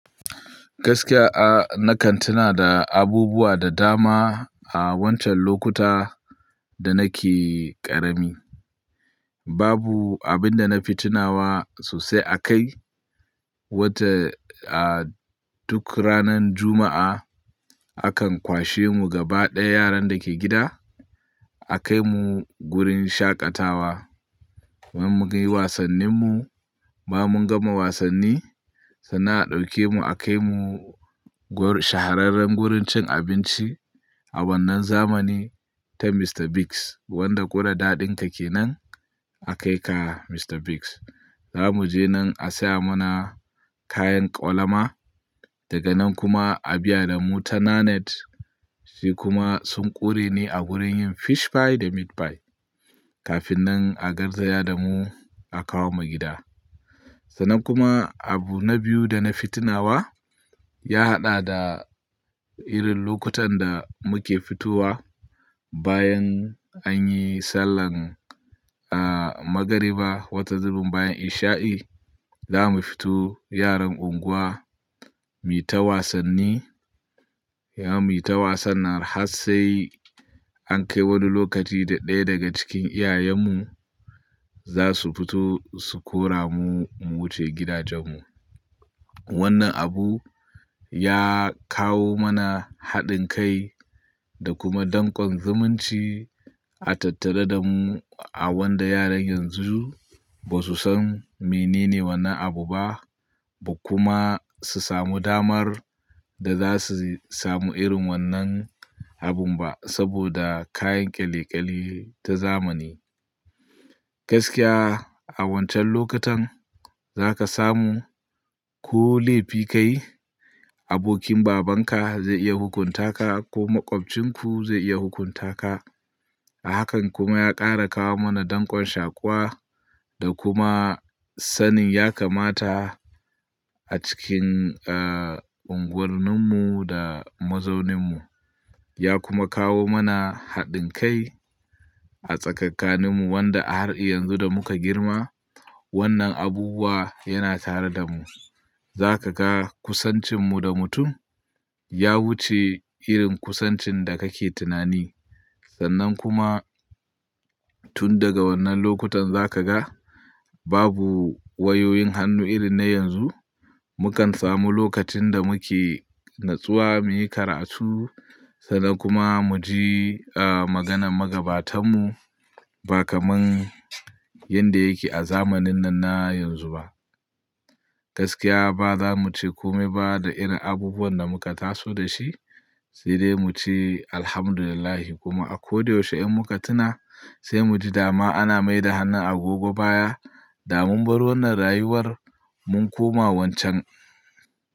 Gaskiya, a nakan tuna da abubuwa da dama a wancan lokuta da nake ƙarami. Babu abin da na fi tunawa sosai akai, wata a duk ranan Juma'a akan kwashe mu gaba ɗaya yaran da ke gida a kai mu gurin shaƙatawa. Mun yi wasannin mu, ba mun gama wasanni, sannan a ɗauke mu a kai mu shahararren gurin cin abinci a wannan zamani ta Mr. Biggs wanda ƙuraɗaɗin ta ke nan a kai ka Mr. Biggs. Za mu je nan a saya mana kayan ƙwalama, daga nan kuma a biya da mu ta Nanette. Shi kuma sun ƙuri ni a gurin yin fish pie da meat pie. Kafin nan a garzaya da mu a kawo mu gida. Sannan kuma abu na biyu da na fi tunawa ya haɗa da irin lokutan da muke fitowa bayan anyi sallah a magariba, wata zumun bayan isha'i, za mu fito yaran unguwa, mu yi ta wasanni, za mu yi ta wasan na har sai an kai wani lokaci da ɗaya daga cikin iyayenmu za su fito su kora mu, mu wuce gidajen mu. Wannan abu ya kawo mana haɗin kai da kuma danƙon zumunci a tattare da mu a wanda yaran yanzu ba su san menene wannan abu ba, ba kuma su samu damar da za su samu irin wannan abun ba saboda kayan ƙyalikali ta zamani. Gaskiya a wancan lokutan za ka samu ko laifi ka yi, abokin babanka zai iya hukunta ka ko maƙwabcin ku zai iya hukunta ka. Hakan kuma ya ƙara kawo mana danƙon shaƙuwa da kuma sanin ya kamata a cikin a unguwanni mu da mazaunin mu. Ya kuma kawo mana haɗin kai a tsakankanin mu wanda a har yanzu da muka girma wannan abubuwa yana tare da mu. Za ka ga kusancin mu da mutum ya wuce irin kusancin da kake tunani. Sannan kuma tun daga wannan lokutan za ka ga babu wayoyin hannu irin na yanzu. Mu kan samu lokacin da muke natsuwa muyi karatu sannan kuma mu ji a maganan magabatan mu ba kamar yanda yake a zamanin nan na yanzu ba. Gaskiya ba za mu ce kome ba da irin abubuwan da muka taso da shi. Side mu ce Alhamdulillah kuma a ko da yaushe in muka tuna sai mu ji dama ana mai da hannun a gogo baya, da mun bar wannan rayuwar mun koma wancan.